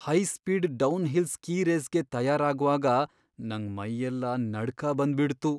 High speed downhill ski ರೇಸ್ಗೆ ತಯಾರಾಗ್ವಾಗ ನಂಗ್ ಮೈಯೆಲ್ಲ ನಡ್ಕ ಬಂದ್ಬಿಡ್ತು.